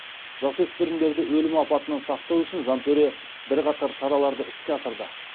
жасөспірімдерді өлім апатынан сақтау үшін жантөре бірқатар шараларды іске асырды